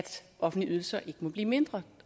offentlige ydelser ikke må blive mindre